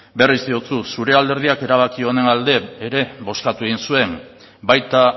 berriz diotsut zure alderdiak erabaki honen alde ere bozkatu egin zuen baita